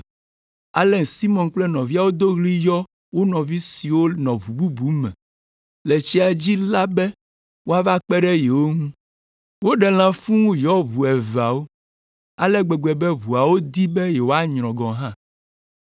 Ale Simɔn kple nɔvia wodo ɣli yɔ wo nɔvi siwo nɔ ʋu bubu me le tsia dzi la be woava kpe ɖe yewo ŋu. Woɖe lã fũu wòyɔ ʋu eveawo ale gbegbe be ʋuawo di be yewoanyrɔ gɔ̃ hã.